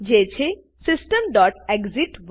જે છે systemએક્સિટ